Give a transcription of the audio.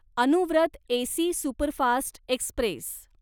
Anuvrat AC superfast Express